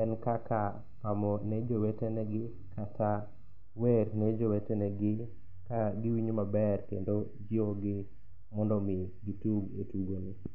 en kaka pamo ne jowete negi kata wer ne jowete negi ka giwinjo maber kendo jiwogi mondo omi gitug e tugomo.